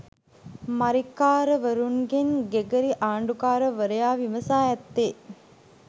මරික්කාරවරුන්ගෙන් Gregory ආණ්ඩුකාරවරයා විමසා ඇත්තේ